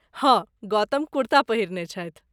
हँ, गौतम कुर्ता पहिरने छथि।